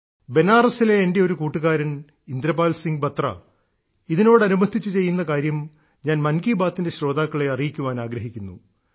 ബനാറസിലെ എന്റെയൊരു കൂട്ടുകാരൻ ഇന്ദ്രപാൽ സിംഗ് ബത്ര ഇതിനോടനുബന്ധിച്ച് ചെയ്യുന്ന കാര്യം ഞാൻ മൻ കി ബാത്തിന്റെ ശ്രോതാക്കളെ അറിയിക്കാൻ ആഗ്രഹിക്കുന്നു